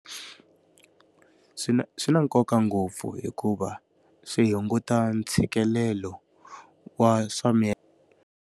Swi swi na nkoka ngopfu hikuva, swi hunguta ntshikelelo wa swa .